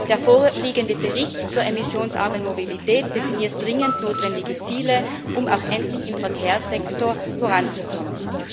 Der vorliegende Bericht zur emissionsarmen Mobilität definiert dringend notwendige Ziele, um auch endlich im Verkehrssektor voranzukommen.